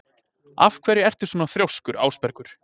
Af hverju ertu svona þrjóskur, Ásbergur?